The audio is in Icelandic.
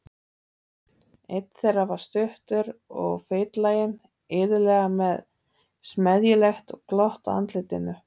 Einn þeirra var stuttur og feitlaginn, iðulega með smeðjulegt glott á andlitinu.